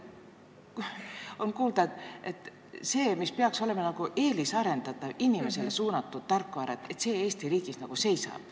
On kuulda, et just see, mis peaks olema eelisarendatav, inimesele suunatud tarkvara, Eesti riigis seisab.